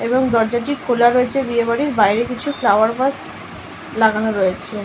এবং দরজাটি খোলা রয়েছে বিয়ে বাড়ির বাইরে কিছু ফ্লাওয়ার ভাস লাগানো রয়েছে।